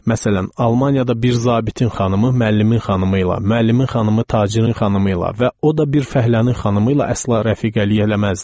Məsələn, Almaniyada bir zabitin xanımı müəllimin xanımı ilə, müəllimin xanımı tacirin xanımı ilə və o da bir fəhlənin xanımı ilə əsla rəfiqəlik eləməzdi.